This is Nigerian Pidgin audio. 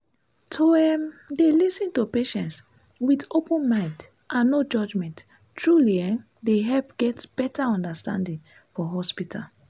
to um dey lis ten to patients with open mind and no judgment truly um dey help get better understanding for hospital.